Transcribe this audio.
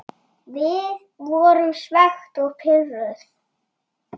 Við vorum svekkt og pirruð.